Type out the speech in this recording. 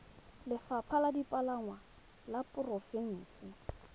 lefapha la dipalangwa la porofense